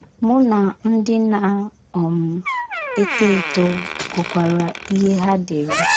Mụ na ndị na - um eto eto gụkwara ihe ha dere.